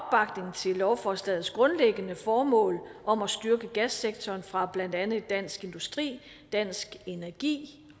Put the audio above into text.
til lovforslagets grundlæggende formål om at styrke gassektoren fra blandt andet dansk industri dansk energi